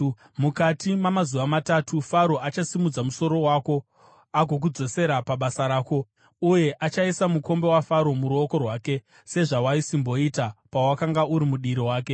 Mukati mamazuva matatu, Faro achasimudza musoro wako agokudzosera pabasa rako, uye uchaisa mukombe waFaro muruoko rwake, sezvawaisimboita pawakanga uri mudiri wake.